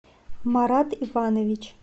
марат иванович